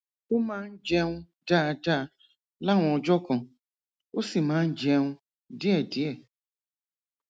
ó máa ń jẹun dáadáa láwọn ọjọ kan ó sì máa ń jẹun díẹdíẹ